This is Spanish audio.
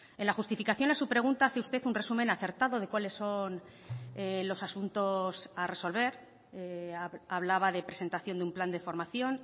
en la justificación a su pregunta hace usted un resumen acertado de cuáles son los asuntos a resolver hablaba de presentación de un plan de formación